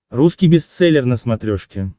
русский бестселлер на смотрешке